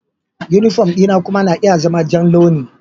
Yunifom dina kuma na iya zama ja launi.